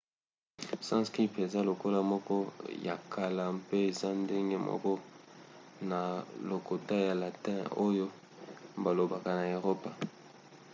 sanskrit eza lokota moko ya kala mpe eza ndenge moko na lokota ya latin oyo balobaka na eropa